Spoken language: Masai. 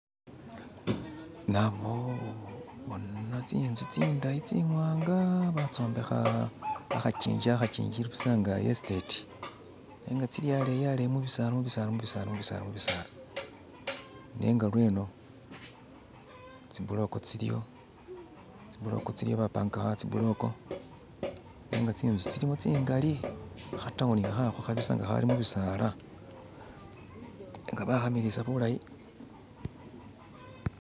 nabo bona tsinzu tsindayi tsimwanga batsombekha akhakingi akhakyingi ilibusa nga'esiteti nenga tsili aleyi aleyi mubisaala mubisaala mubisaala nenga lweno tsibuloko tsiliyo bapangakakho awo tsibuloko nenga tsinzu tsilimo tsingali khatawuni khakho khalibusa nga akhali mubisaala nenga bakhamilisaa bulayi